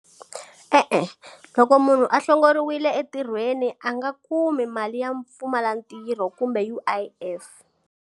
E-e, loko munhu a hlongoriwile entirhweni a nga kumi mali ya mpfumala ntirho kumbe U_I_F.